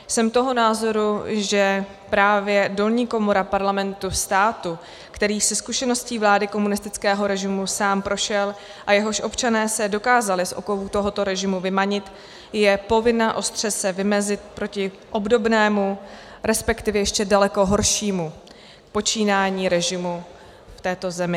Jsem toho názoru, že právě dolní komora Parlamentu státu, který se zkušeností vlády komunistického režimu sám prošel a jehož občané se dokázali z okovů tohoto režimu vymanit, je povinna se ostře vymezit proti obdobnému, respektive ještě daleko horšímu počínání režimu v této zemi.